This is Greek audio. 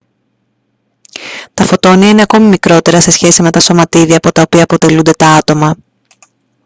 τα φωτόνια είναι ακόμη μικρότερα σε σχέση με τα σωματίδια από τα οποία αποτελούνται τα άτομα